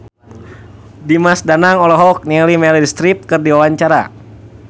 Dimas Danang olohok ningali Meryl Streep keur diwawancara